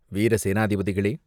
வீர சேநாதிபதிகளே!